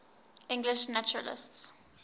english naturalists